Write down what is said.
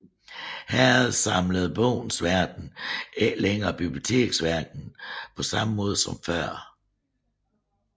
Herefter samlede Bogens Verden ikke længere biblioteksverdenen på samme måde som før